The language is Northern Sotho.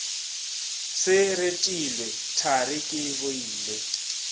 se retilwe thari ke boile